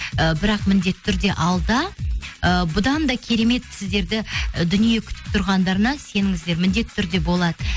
ы бірақ міндетті түрде алда ы бұдан да керемет сіздерді ы дүние күтіп тұрғандарына сеніңіздер міндетті түрде болады